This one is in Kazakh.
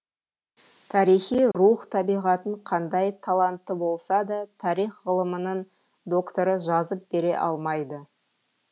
тарихи рух табиғатын қандай талантты болса да тарих ғылымының докторы жазып бере алмайды